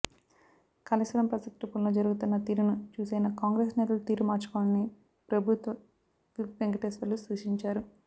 Kaleshwaram project పనులు జరుగుతున్న తీరును చూసైనా కాంగ్రెస్ నేతలు తీరు మార్చుకోవాలని ప్రభుత్వ విప్ వెంకటేశ్వర్లు సూచించారు